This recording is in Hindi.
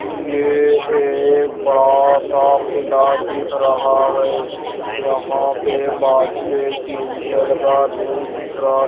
एक बड़ा सा खिला दिख रहा है यहां पे बाजू एक टीन शेड का रूम दिख रहा।